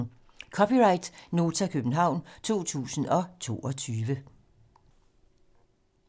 (c) Nota, København 2022